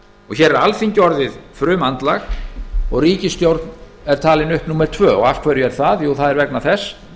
hér er alþingi orðið frumandlag og ríkisstjórn er talin upp númer tvö af hverju er það jú það er vegna þess